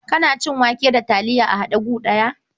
Kana cin wake da taliya a haɗe gu ɗaya?